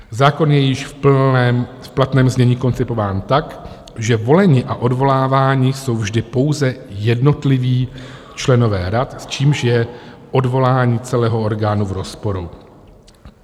Zákon je již v platném znění koncipován tak, že voleni a odvoláváni jsou vždy pouze jednotliví členové rad, s čímž je odvolání celého orgánu v rozporu."